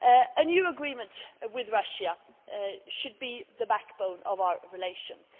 A new agreement with Russia should be the backbone of our relationship.